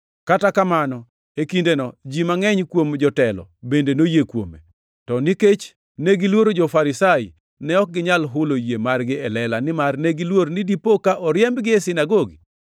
Kata kamano, e kindeno, ji mangʼeny kuom jotelo bende noyie kuome. To nikech negiluoro jo-Farisai, ne ok ginyal hulo yie margi e lela nimar negiluor ni dipo ka oriembgi e sinagogi.